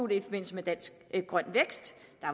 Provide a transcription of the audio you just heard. i forbindelse med deres grøn vækst